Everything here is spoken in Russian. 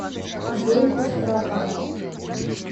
зойку страхову